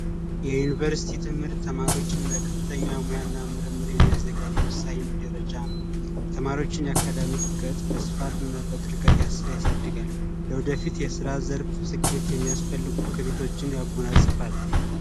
የዩኒቨርስቲ ትምህርት ተማሪዎችን ለከፍተኛ ሙያና ምርምር የሚያዘጋጅ ወሳኝ ደረጃ ነው የተማሪዎችን የአካዳሚበት ያሳድጋል ወደፊት የስራ ዘርፍ ስኬት የሚያስፈልጉቶችን ያጎናጽፏል